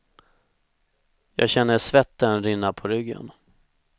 Jag känner svetten rinna på ryggen.